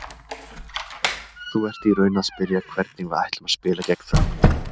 Þú ert í raun að spyrja hvernig við ætlum að spila gegn Frökkum?